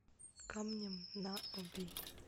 камнем на оби